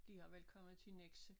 Der har vel kommet til Nexø